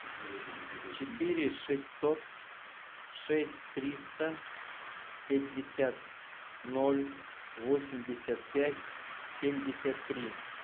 четыре шестьсот шесть триста пятьдесят ноль восемьдесят пять семьдесят три